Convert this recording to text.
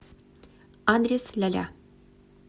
адрес ляля